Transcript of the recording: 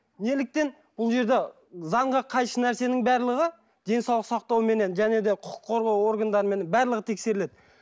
неліктен бұл жерде заңға қайшы нәрсенің барлығы денсаулық сақтауменен және де құқық қорғау органдарымен барлығы тексеріледі